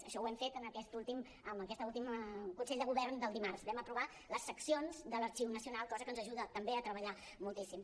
això ho hem fet en aquest últim consell de govern del dimarts vam aprovar les seccions de l’arxiu nacional cosa que ens ajuda també a treballar moltíssim